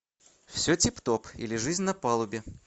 все тип топ или жизнь на палубе